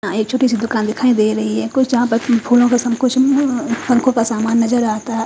ए चोटी सी दुकान दिखाई दे रही है कुछ यहां पर फूलों के का सामान नजर आता--